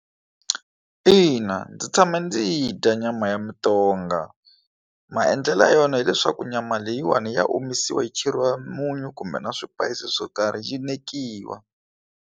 Ina, ndzi tshame ndzi yi dya nyama ya mutonga maendlelo ya yona hileswaku nyama leyiwani ya omisiwa yi cheriwa munyu kumbe na swipayisisi swo karhi yi nekiwa.